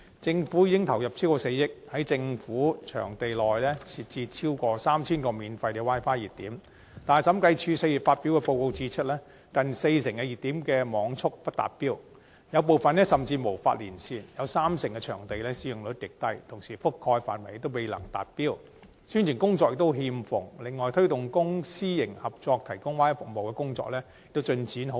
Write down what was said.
政府已投入超過4億元，在政府場地設置超過 3,000 個免費 Wi-Fi 熱點，但審計署4月發表報告指出，近四成熱點的網速不達標，有部分甚至無法連線，提供 Wi-Fi 的場地中三成的使用率極低；整項政府 Wi-Fi 服務的覆蓋範圍未能達標，宣傳工作欠奉；而推動公私營合作提供 Wi-Fi 服務的工作亦進展緩慢。